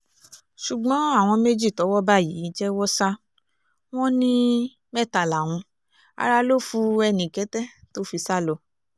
ṣùgbọ́n àwọn méjì tọ́wọ́ bá yìí jẹ́wọ́ sá wọn ní mẹ́ta làwọn ará lọ fu ẹnìkẹ́tẹ́ tó fi sá lọ